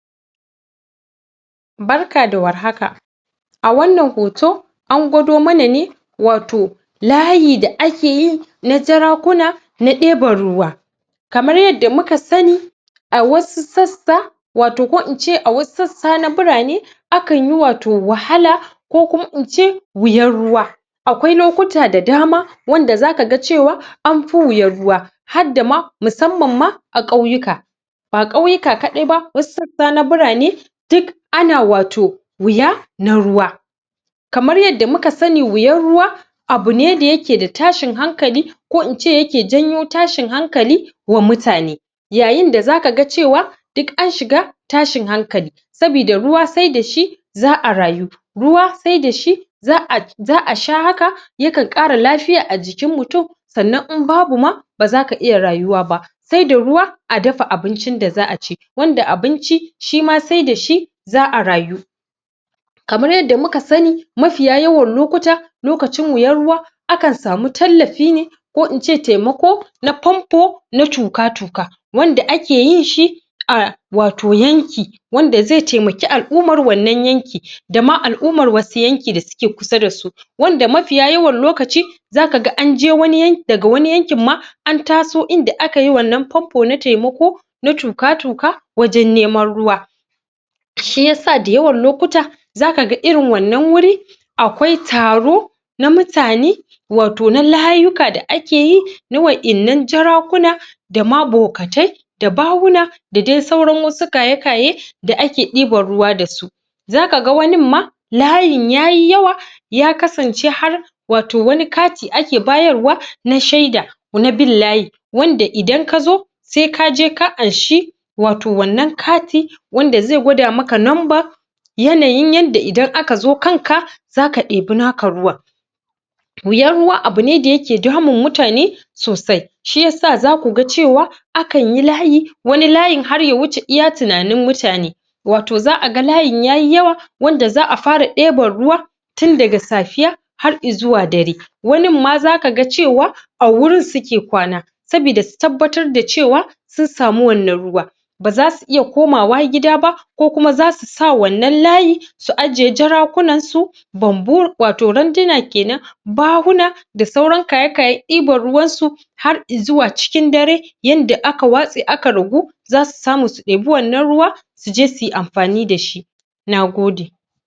Barka da warhaka a wannan hoto na gwado mana ne wato layi da akeyi na jarakuna na ɗeban ruwa kamar yadda muka sani a wasu sassa wato ko ince a wasu sassa na birane akan yi wato wahala ko kuma ince wuyan ruwa akwai lokuta da dama wanda zaka ga cewa amfi wuyan ruwa hadda ma musamma ma a ƙauyuka ba ƙauyuka kadai ba wasu sassa na birane duk ana wato wuya na ruwa kamar yadda muka sani wuyan ruwa abune dayake da tashin hankali ko ince yake janyo tashin hankali wa mutane yayin da zaka ga cewa duk an shiga tashin hankali sabida ruwa sai dashi za'a rayu ruwa sai dashi za'a sha haka yakan ƙara lafiya ajikin mutum sannan imbabu ma ba zaka iya rayuwa ba sai da ruwa a dafa abincin da za'a ci wanda abinci shima sai dashi za'a rayu kamar yadda muka sani mafiya yawan lokuta lokacin wuyan ruwa akan samu tallafi ne ko ince taimako na pompo na tuƙa-tuƙa wanda akeyin shi a wato yanki wanda zai taimaki al-ummar wannan yanki dama al-ummar wani yanki da suke kusa dasu wanda mafiya yawan lokaci zaka ga anje daga wani yankin ma antaso inda akayi wannan pompo na taimako na tuƙa-tuƙa wajen neman ruwa shiyasa da yawan lokuta zaka ga irin wannan wuri akwai taro na mutane wato na layuka da akeyi na waɗannan jarakuna dama bokatai da bahuna da dai sauran wasu kayakaye da ake diban ruwa da su zaka wanin ma layin yayi yawa ya kasance har wato wani kati ake bayarwa na shaida na bin layi wanda idan kazo sai kaje ka anshi wato wannan kati wanda zai gwada maka nomba yanayin yadda idan akazo kanka zaka ɗebi naka ruwan wuyan ruwa abune dayake damun mutane sosai shiyasa zakuga cewa akanyi layi wani layin har yawuce iya tuna nin mutane wato za'a ga layin yayi yawa wanda za'a fara ɗeban ruwa tundaga safiya har izuwa dare wanin ma zaka ga cewa a wurin suke kwana saboda su tabbatar da cewa sun sami wannan ruwa baza su iya komawa gida ba ko kuma zasu sa wannan layi su aje jarakunan su bambu wato randuna kenan bahuna da sauran kaye-kayen ɗiban ruwan su har izuwa cikin dare yanda aka watse aka ragu zasu samu su ɗebi wannan ruwa suje suyi amfani da shi nagode